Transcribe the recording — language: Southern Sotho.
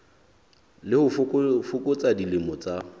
le ho fokotsa dilemo tsa